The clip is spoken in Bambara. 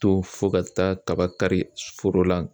To fo ka taaba kari foro la